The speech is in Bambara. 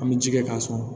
An bɛ ji kɛ k'a sɔn